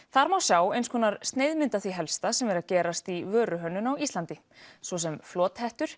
þar má sjá sneiðmynd af því helsta sem er að gerast í vöruhönnun á Íslandi svo sem